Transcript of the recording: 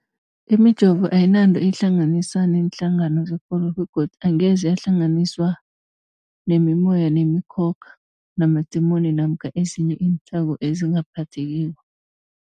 Imijovo ayinanto eyihlanganisa neenhlangano zekolo begodu angeze yahlanganiswa nemimoya, nemikhokha, namadimoni namkha ezinye iinthako ezingaphathekiko.